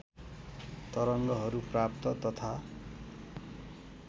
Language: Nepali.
तरङ्गहरू प्राप्त तथा